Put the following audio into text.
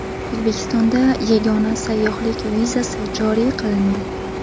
O‘zbekistonda yagona sayyohlik vizasi joriy qilindi.